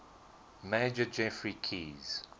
major geoffrey keyes